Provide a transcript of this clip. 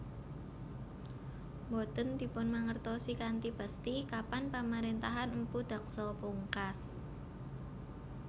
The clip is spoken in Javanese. Boten dipunmangertosi kanthi pesthi kapan pamarentahan Mpu Daksa pungkas